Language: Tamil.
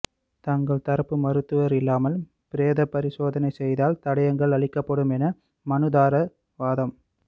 தங்கள் தரப்பு மருத்துவர் இல்லாமல் பிரேத பரிசோதனை செய்தால் தடயங்கள் அழிக்கப்படும் என மனுதாரர் வாதம்